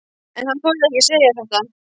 En hann þorði ekki að segja þetta.